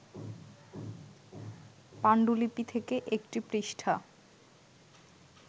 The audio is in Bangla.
পাণ্ডুলিপি থেকে একটি পৃষ্ঠা